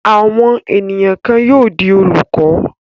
Àwọn ènìyàn kan yóò di olùkọ́.